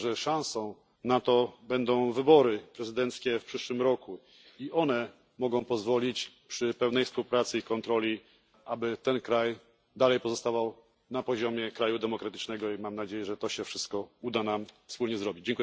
Sądzę, że szansą na to będą wybory prezydenckie w przyszłym roku i one mogą pozwolić przy pełnej współpracy i kontroli, aby ten kraj dalej pozostawał na poziomie kraju demokratycznego i mam nadzieję, że to się wszystko uda nam wspólnie zrobić.